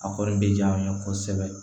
A kɔni bɛ diya an ye kosɛbɛ